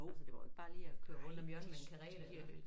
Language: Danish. Altså det var jo ikke bare lige at køre rundt om hjørnet med en karet